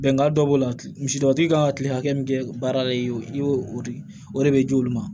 Bɛnkan dɔ b'o la misi dɔ tigi kan ka kile hakɛ min kɛ baara la i y'o i y'o o de o de bɛ di olu ma